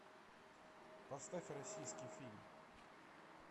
поставь российский фильм